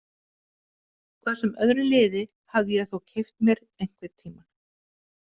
Hvað sem öðru liði hafði ég þó keypt mér einhvern tíma.